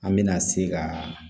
An mɛna se ka